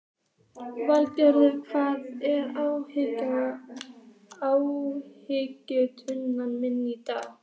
Valgarður, hvað er á áætluninni minni í dag?